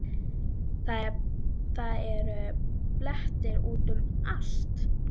Það eru blettir út um allt.